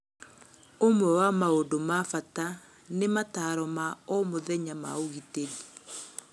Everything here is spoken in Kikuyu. ũmwe wa maũndũ na bata nĩ matano ma o mũthenya ma ũgitĩri